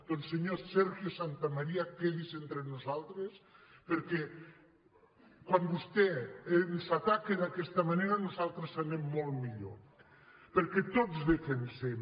doncs senyor sergio santamaría quedi’s entre nosaltres perquè quan vostè ens ataca d’aquesta manera nosaltres anem molt millor perquè tots defen·sem